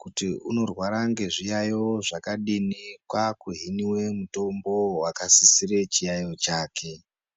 kuti anorwara nezviyaiyo zvakadini kwakuhinwa mitombo yakasisira chiyaiyo chake.